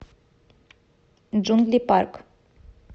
джунгли парк